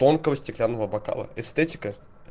тонкого стеклянного бокала эстетика